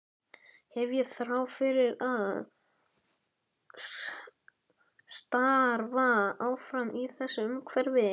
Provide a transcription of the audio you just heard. Hef ég þrá til að starfa áfram í þessu umhverfi?